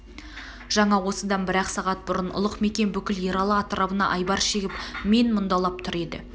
жаңа осыдан бір-ақ сағат бұрын ұлық мекен бүкіл ералы атырабына айбар шегіп мен мұндалап тұр еді